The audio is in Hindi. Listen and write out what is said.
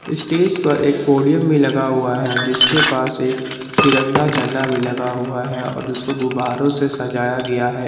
स्टेज पर एक पोडियम भी लगा हुआ है जिसके पास एक तिरंगा झंडा भी लगा हुआ है और उसको गुब्बारों से सजाया गया है।